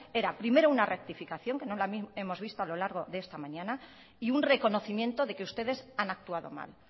era primero una rectificación que no la hemos visto a lo largo de esta mañana y un reconocimiento de que ustedes han actuado mal